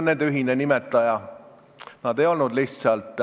Nende ühine nimetaja on see, et nad ei olnud lihtsalt